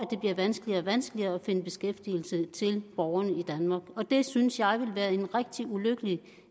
vanskeligere og vanskeligere at finde beskæftigelse til borgerne i danmark og det synes jeg ville være en rigtig ulykkelig